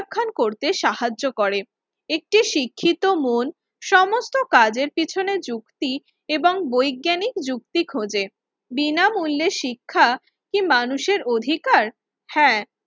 খ্যান করতে সাহায্য করে। একটি শিক্ষিত মন সমস্ত কাজের পিছনে যুক্তি এবং বৈজ্ঞানিক যুক্তি খোজে। বিনামূল্যে শিক্ষা কি মানুষের অধিকার? হ্যাঁ,